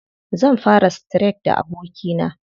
Zan fara streak da abokina.